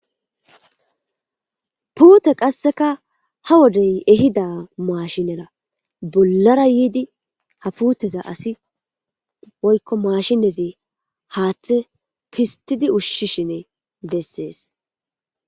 puute qasseka ha wodey ehida maashinera bollara yiidi haputeza asi woykko maashiezi haaththe pistidi ushshishine bessees